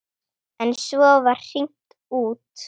En svo var hringt út.